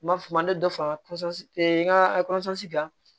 N b'a f'o ma ne dɔ fara n ka kan